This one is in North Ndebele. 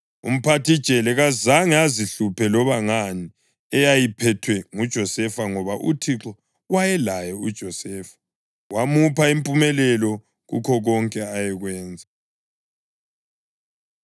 Umphathijele kazange azihluphe loba ngani eyayiphethwe nguJosefa ngoba uThixo wayelaye uJosefa, wamupha impumelelo kukho konke ayekwenza.